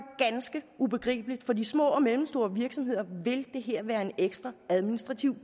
ganske ubegribeligt for de små og mellemstore virksomheder vil det her være en ekstra administrativ